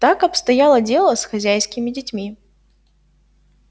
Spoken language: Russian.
так обстояло дело с хозяйскими детьми